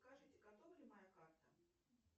скажите готова ли моя карта